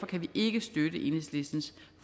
kan vi ikke støtte enhedslistens